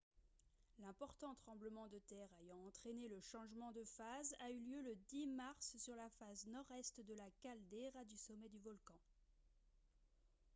l'important tremblement de terre ayant entraîné le changement de phase a eu lieu le 10 mars sur la face nord-est de la caldeira du sommet du volcan